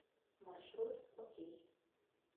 маршрут окей